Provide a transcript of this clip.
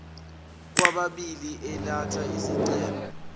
kwababili elatha isicelo